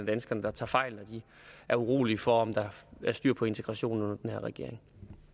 danskerne tager fejl når de er urolige for om der er styr på integrationen under den her regering